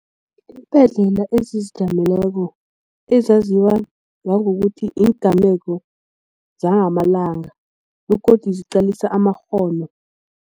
Iimbhedlela ezizijameleko ezaziwa ngokuthi yigameko zangamalanga begodu ziqalisa amakghono.